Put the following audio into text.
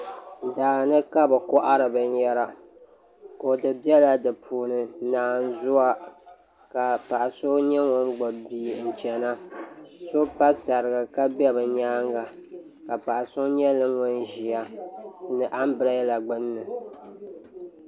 Daani kabi kohari binyɛra kodu biɛla di puuni naanzuwa ka paɣa so nyɛ ŋun gbubi bia n chɛna so pa saraga ka bɛ bi nyaanga ka paɣa so nyɛ ŋun ʒi anbirɛla gbuni